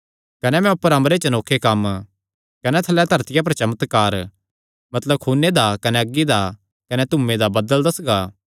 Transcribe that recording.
कने मैं ऊपर अम्बरे च अनोखे कम्म कने थल्लैं धरतिया पर चमत्कार मतलब खूने दा कने अग्गी दा कने धूयें दा बदल़ दस्सगा